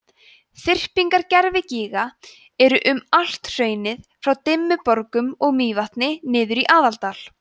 þyrpingar gervigíga eru um allt hraunið frá dimmuborgum og mývatni niður í aðaldal